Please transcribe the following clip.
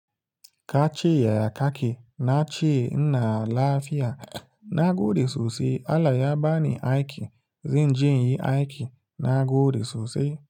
Kace yaya kake, na ce ina lafiya. Na gode sosai. Allah ya ba ni aiki, zan je inyi aiki. Na gode sosai.